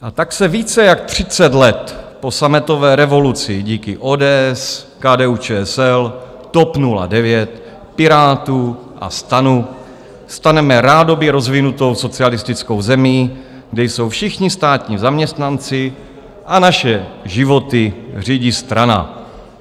A tak se více jak třicet let po sametové revoluci díky ODS, KDU-ČSL, TOP 09, Pirátům a STANu staneme rádoby rozvinutou socialistickou zemí, kde jsou všichni státní zaměstnanci a naše životy řídí strana.